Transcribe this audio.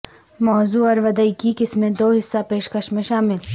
موضوع اور ودیئ کی قسمیں دو حصہ پیشکش میں شامل